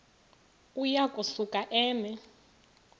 uya kusuka eme